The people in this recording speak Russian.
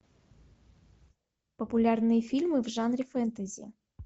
популярные фильмы в жанре фэнтези